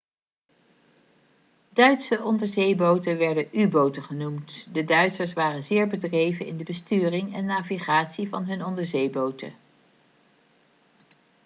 duitse onderzeeboten werden u-boten genoemd de duitsers waren zeer bedreven in de besturing en navigatie van hun onderzeeboten